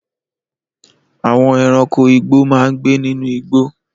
Àwọn ẹranko igbó máa ń gbé nínú igbó.